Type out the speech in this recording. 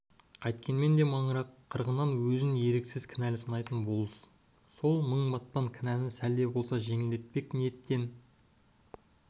қайткенмен де маңырақ қырғынына өзін еріксіз кінәлі санайтын болыс сол мың батпан кінәні сәл де болса жеңілдетпек ниеттен